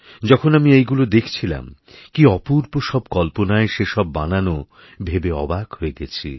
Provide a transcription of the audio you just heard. যখন আমি এইগুলো দেখছিলাম কী অপূর্ব সব কল্পনায় সে সববানানো ভেবে অবাক হয়ে গেছি